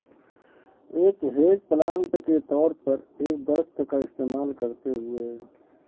ایک hedge plant کے طور پر ایک درخت کا استعمال کرتے ہوئے